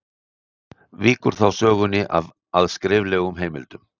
Víkur þá sögunni að skriflegum heimildum.